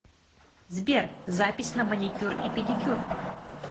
сбер запись на маникюр и педикюр